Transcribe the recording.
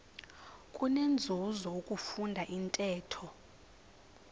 kunenzuzo ukufunda intetho